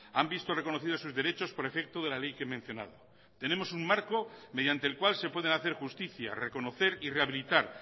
han visto reconocidos sus derechos por efecto de la ley que he mencionado tenemos un marco mediante el cual se pueden hacer justicia reconocer y rehabilitar